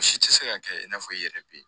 U si tɛ se ka kɛ i n'a fɔ i yɛrɛ bɛ